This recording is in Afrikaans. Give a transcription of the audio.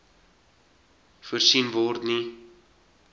voorsien word nie